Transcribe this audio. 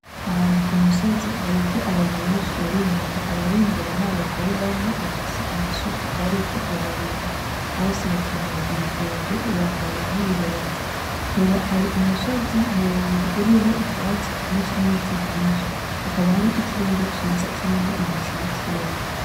Ahantu ku musozi hariho abantu benshi bari inyuma , abari imbere n’abagore bane bafise amasuka bariko bararima bose bakenyeye ibitenge bambaye nibirenge, hari umusozi muremure uriho ivyatsi vyinshi n'ibiti vyinshi, hakaba hari ikirere ciza kirimwo ibicu bikeya.